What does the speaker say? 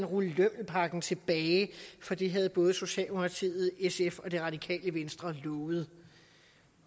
rulle lømmelpakken tilbage for det havde både socialdemokratiet sf og det radikale venstre lovet